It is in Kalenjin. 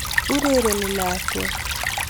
Urereni lakwet